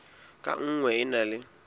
ka nngwe e na le